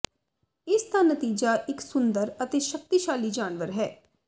ਇਸ ਦਾ ਨਤੀਜਾ ਇੱਕ ਸੁੰਦਰ ਅਤੇ ਸ਼ਕਤੀਸ਼ਾਲੀ ਜਾਨਵਰ ਹੈ